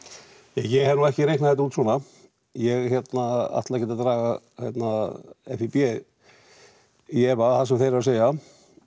ég hef nú ekki reiknað þetta út svona ég ætla ekkert að draga FÍB í efa það sem þeir eru að segja